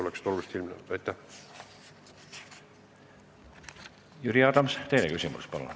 Jüri Adams, teine küsimus, palun!